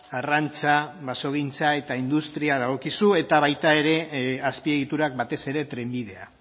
arrantza basogintza eta industria dagokizu eta baita ere azpiegiturak batez ere trenbidea